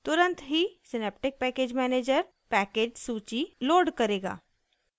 तुरंत ही synaptic package manager package सूची लोड करेगा